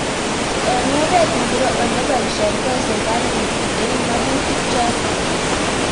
Eng oret ingoro olepaishetoi serikalit eng makutik chuto?